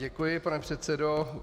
Děkuji, pane předsedo.